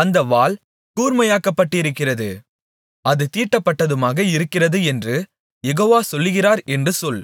அந்தப் வாள் கூர்மையாக்கப்பட்டிருக்கிறது அது தீட்டப்பட்டதுமாக இருக்கிறது என்று யெகோவா சொல்லுகிறார் என்று சொல்